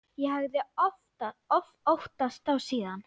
Ég hafði óttast þá síðan.